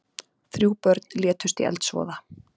Þrjú börn létust í eldsvoða